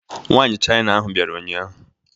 Nwaanyị China ahụ bịara ụnyahụ.